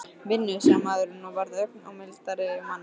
Vinnu? sagði maðurinn og varð ögn mildari á manninn.